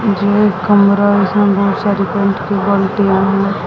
यह एक कमरा है जिसमें बहुत सारी पेंट की बाल्टिया हैं।